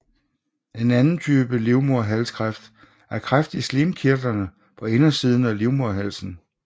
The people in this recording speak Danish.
En anden type livmoderhalskræft er kræft i slimkirtlerne på indersiden af livmoderhalsen